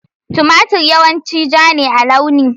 Tumatir yawanci ja ne a launi.